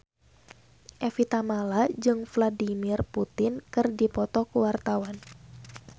Evie Tamala jeung Vladimir Putin keur dipoto ku wartawan